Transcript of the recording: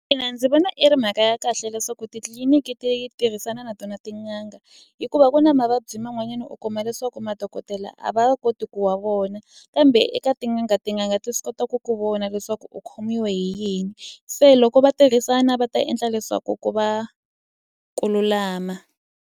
Ina ndzi vona i ri mhaka ya kahle leswaku titliliniki ti tirhisana na tona tin'anga hikuva ku na mavabyi man'wanyana u kuma leswaku madokodela a va koti ku wa vona kambe eka tin'anga tin'anga ti swi kota ku ku vona leswaku u khomiwe hi yini se loko va tirhisana va ta endla leswaku ku va ku lulama.